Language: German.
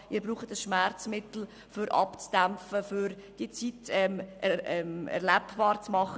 Sie brauchen ein Schmerzmittel, um abzudämpfen und die Zeit erlebbar zu machen.